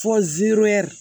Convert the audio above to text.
Fɔ ziroyɛri